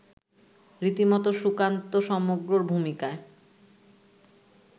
রীতিমতো সুকান্ত সমগ্রর ভূমিকায়